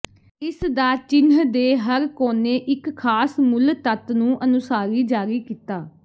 ਇਸ ਦਾ ਚਿੰਨ੍ਹ ਦੇ ਹਰ ਕੋਨੇ ਇੱਕ ਖਾਸ ਮੁੱਲ ਤੱਤ ਨੂੰ ਅਨੁਸਾਰੀ ਜਾਰੀ ਕੀਤਾ